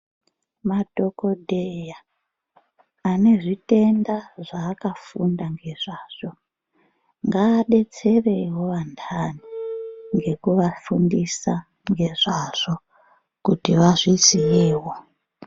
Madhokodheya anezvitenda zvaakafunda ngezvazvo ngaadetserewo antani ngekuafundisa ngezvazvo kuti vazviziyewo.